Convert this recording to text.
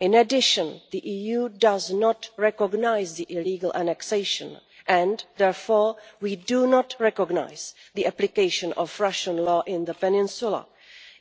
In addition, the EU does not recognise the illegal annexation and, therefore, we do not recognise the application of Russian law in the peninsula,